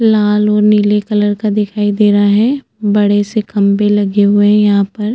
लाल और नीले कलर का दिखाई दे रहा है बड़े से खम्बे लगे हुए है यहाँ पर --